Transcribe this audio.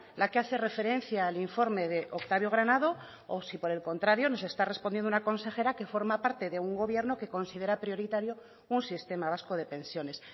la que hace referencia al informe de octavio granado o si por el contrario nos está contestando una consejera que forma parte de un gobierno que considera prioritario un sistema vasco de pensiones